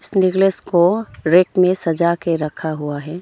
Necklace को rack में सजा के रखा हुआ है।